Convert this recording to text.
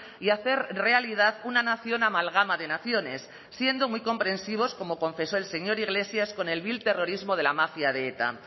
y hacer realidad una nación amalgama de naciones siendo muy comprensivos como confesó el señor iglesias con el vil terrorismo de la mafia de eta